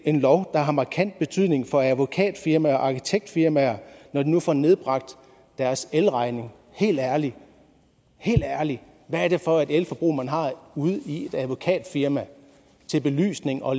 en lov der har markant betydning for advokatfirmaer og arkitektfirmaer når de nu får nedbragt deres elregning helt ærligt hvad er det for et elforbrug man har i et advokatfirma til belysning og